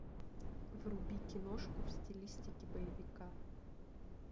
вруби киношку в стилистике боевика